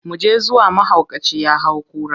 Mu je zuwa, mahaukaci ya hau kura.